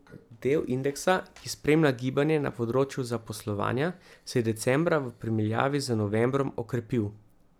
Del indeksa, ki spremlja gibanje na področju zaposlovanja, se je decembra v primerjavi z novembrom okrepil.